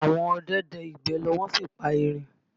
Àwọn ọdẹ dẹ ìgbẹ́ lọ wọ́n sì pa erin